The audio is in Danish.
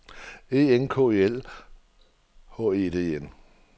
E N K E L H E D E N